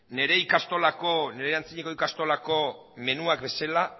nire antzinako eskolako menuak bezala